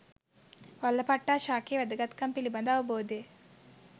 වල්ලපට්ටා ශාකයේ වැදගත්කම පිළිබඳ අවබෝධය